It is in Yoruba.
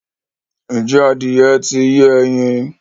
ǹjẹ́ adìyẹ ń ti yé ẹyin?